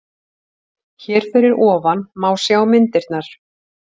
Hér fyrir ofan má sjá myndirnar